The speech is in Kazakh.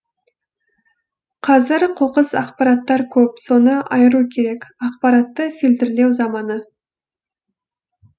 қазір қоқыс ақпараттар көп соны айыру керек ақпаратты фильтрлеу заманы